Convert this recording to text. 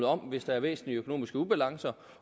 om hvis der er væsentlige økonomiske ubalancer